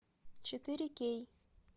четыре кей